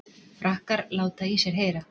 Frakkar láta í sér heyra